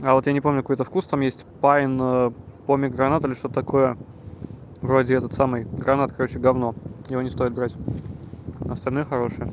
а вот я не помню какой-то вкус там есть пайн помегранат или что-то такое вроде этот самый гранат короче гавно его не стоит брать остальных хорошие